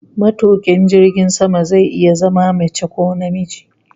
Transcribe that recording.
Matukin jirgin sama zai iya zama mace ko namiji